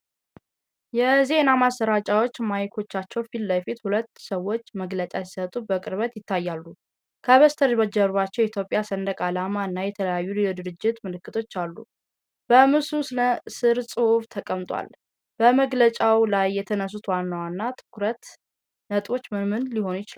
የዜና ማሰራጫዎች ማይክሮፎኖች ፊት ለፊት ሁለት ሰዎች መግለጫ ሲሰጡ በቅርበት ይታያሉ። ከበስተኋላቸው የኢትዮጵያ ሰንደቅ ዓላማ እና የተለያዩ የድርጅት ምልክቶች አሉ። በምስሉ ስር ጽሑፍ ተቀምጧል። በመግለጫው ላይ የተነሱት ዋና ዋና የትኩረት ነጥቦች ምን ምን ሊሆኑ ይችላሉ?